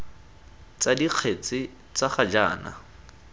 tsa dikgetse tsa ga jaana